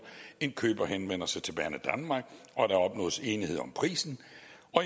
indkøber henvender sig til banedanmark og der opnås enighed om prisen